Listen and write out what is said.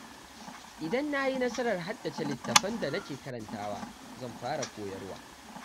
Idan na yi nasarar haddace litattafan da nake karantawa, zan fara koyarwa.